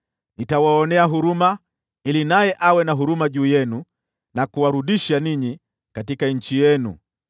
Nitawaonea huruma ili naye awe na huruma nanyi na kuwarudisha katika nchi yenu.’